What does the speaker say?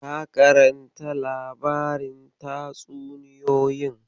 Ka karanta labarin tatsuniyoyin.